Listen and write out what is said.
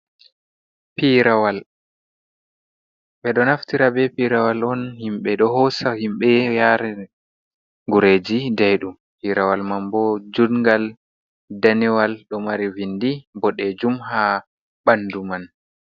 Piirawal, ɓe ɗo naftira be pirawal on himɓe ɗo hoosa himɓe yare gureeji daiɗum, piirawal man bo jungal danewal ɗo mari vindi boɗeejum ha ɓandu man.